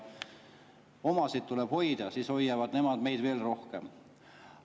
Omasid tuleb hoida, siis hoiavad nemad meid veel rohkem.